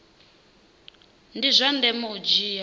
ndi zwa ndeme u dzhia